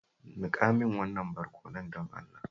Nika min wannan barkonon, don Allah.